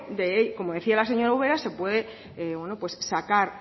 como decía la señora ubera se puede sacar